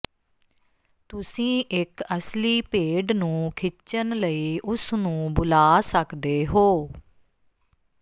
ਤੁਸੀਂ ਇਕ ਅਸਲੀ ਭੇਡ ਨੂੰ ਖਿੱਚਣ ਲਈ ਉਸ ਨੂੰ ਬੁਲਾ ਸਕਦੇ ਹੋ